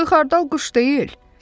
Axı xardal quş deyil.